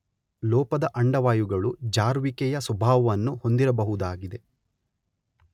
ಲೋಪದ ಅಂಡವಾಯುಗಳು ಜಾರುವಿಕೆ ಯ ಸ್ವಭಾವವನ್ನು ಹೊಂದಿರಬಹುದಾಗಿದೆ